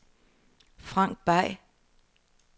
Frank Bay